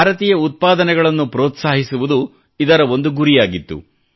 ಭಾರತೀಯ ಉತ್ಪಾದನೆಗಳನ್ನು ಪ್ರೋತ್ಸಾಹಿಸುವುದು ಇದರ ಒಂದು ಗುರಿಯಾಗಿತ್ತು